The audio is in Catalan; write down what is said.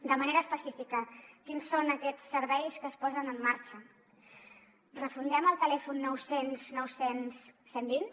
de manera específica quins són aquests serveis que es posen en marxa refundem el telèfon nou cents nou cents cent i vint